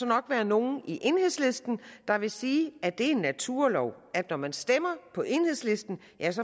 nok være nogle i enhedslisten der ville sige at det er en naturlov at når man stemmer på enhedslisten